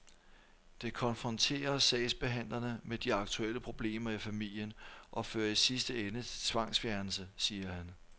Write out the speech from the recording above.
Det konfronterer sagsbehandlerne med de aktuelle problemer i familien og fører i sidste ende til tvangsfjernelse, siger han.